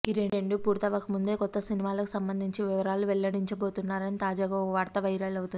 ఈ రెండు పూర్తవక ముందే కొత్త సినిమాకు సంబంధించిన వివరాలు వెల్లడించబోతున్నారని తాజాగా ఓ వార్త వైరల్ అవుతోంది